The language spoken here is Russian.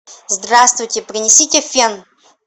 здравствуйте принесите фен